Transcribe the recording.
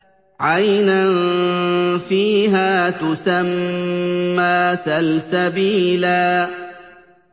عَيْنًا فِيهَا تُسَمَّىٰ سَلْسَبِيلًا